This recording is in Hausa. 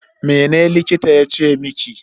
Mene likitan yace miki?